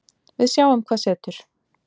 Við sjáum hvað setur